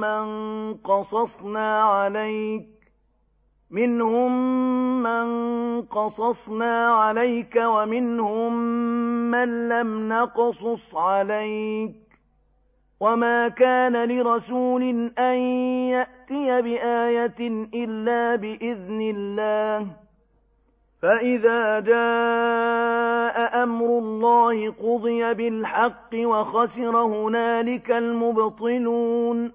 مَّن قَصَصْنَا عَلَيْكَ وَمِنْهُم مَّن لَّمْ نَقْصُصْ عَلَيْكَ ۗ وَمَا كَانَ لِرَسُولٍ أَن يَأْتِيَ بِآيَةٍ إِلَّا بِإِذْنِ اللَّهِ ۚ فَإِذَا جَاءَ أَمْرُ اللَّهِ قُضِيَ بِالْحَقِّ وَخَسِرَ هُنَالِكَ الْمُبْطِلُونَ